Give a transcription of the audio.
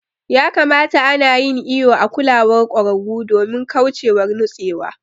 Ya kamata ana yin iƴo a kulawar kwararu domin kauchewar nutsewa.